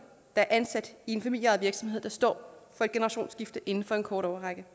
der er ansat i en familieejet virksomhed der står for et generationsskifte inden for en kort årrække